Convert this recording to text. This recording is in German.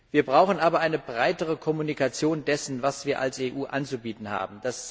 Wir brauchen aber eine breitere Kommunikation dessen, was wir als EU anzubieten haben.